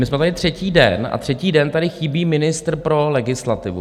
My jsme tady třetí den a třetí den tady chybí ministr pro legislativu.